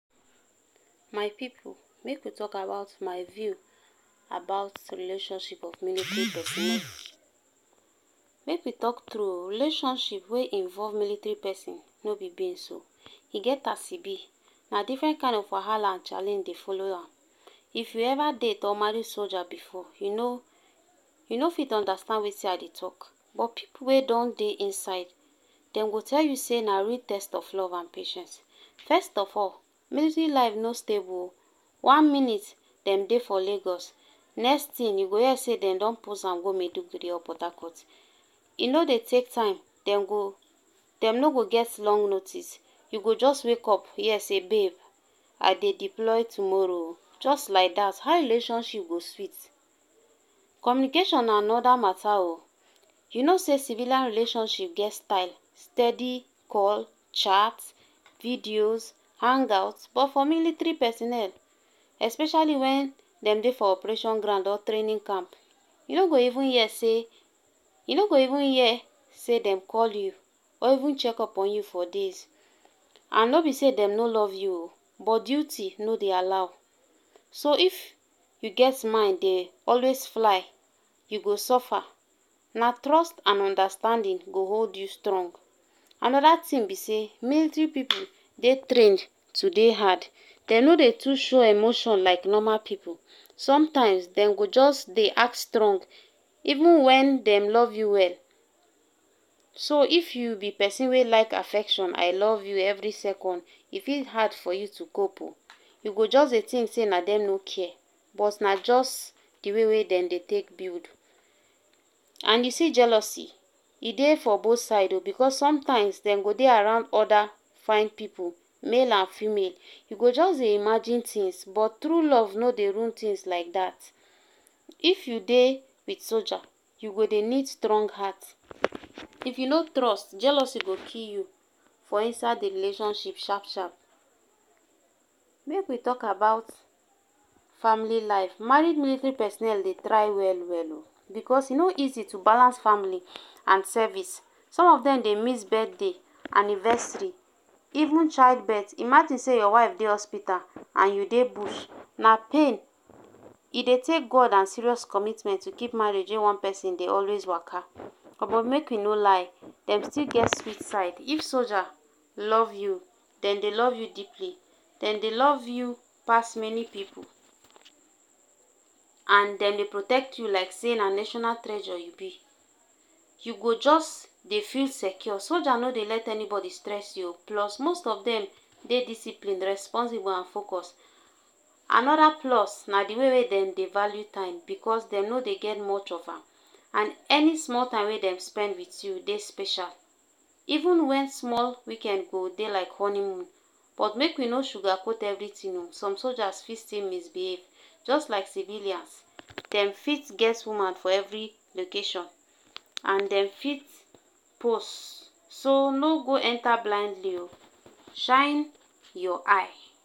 My people, make we talk about my view about the relationship of military personnel. Make we tok true um relationship wey involve military peson, no be beans um. E get as e bi. Na different kind of wahala and challenge dey follow am. If you ever date or marry soldier before, you no, you no fit understand wetin I dey talk. But people wey don dey inside dem go tell you say na real test of love and patience first of all mility life no stable um one minute dem dey for lagos next tin you go hia say dem don pose am go Maiduguri or Portharcourt. e no dey take time dem go dem no go get long notice you go jus wake up hia say babe I dey deploy tomorrow um jus lyk dat how relationship go sweet. Communication na anoda mata um You know say civilian relationship get style, steady, call, chat, videos, hangouts but for military personnel especially wen dem dey for operation ground or training camp you no go even hia say you no go even hia say dem call you or even check up on you for days and no be say dem no love you [um]but duty no dey allow so if you get min dey always fly you go suffer Na trust and understanding go hold you strong. Another thing be say militry people dey trained to dey hard. Dem no dey too show emotion like normal people. Sometimes dem go just dey act strong even wen dem love you well So if you be peson wey love affection I love you every second e fit hard for you to cope um You go just dey tink say na dem no kia but na just di way wey dem dey take build and you see jealousy e dey for both sides um because sometimes dem go dey around oda fine people male and female you go just dey imagine tins but true love no dey rule tins lyk dat If you dey wit soldier you go dey nid strong heart if you no trust jealousy go kill you for inside di rlationship sharp sharp make we talk about Family life, married military personnel dey try well well um. Because e no easy to balance family and service. Some of dem dey miss birthday, anniversary, even childbirth. Imagine say your wife dey hospital and you dey bush. na pain. E dey take God and serious commitment to keep marriage in one person dey always waka upon make we no lie, dem still get sweet side. If soldier love you, dem dey love you deeply. Dem dey love you pass many people and dem dey protect you like say na national treasure you be. You go jus dey feel secure. Soldier no dey let anybody stress you um plus most of dem dey disciplined, responsible and focus Anoda plus na di way wey dem dey value time because dem no dey get much of am and any small time wey dem spend with you dey special. Even wen small weekend go dey like honeymoon but make we no sugarcoat everything um some soldiers fit still misbehave just like civilians Dem fit ges woman for every location and dem fit pos so no go enta blindly um shine your eye